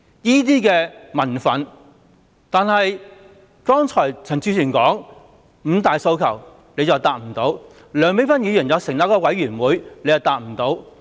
但是，他沒有回答剛才陳志全議員所說的五大訴求，而梁美芬議員建議成立一個委員會，他亦沒有回答。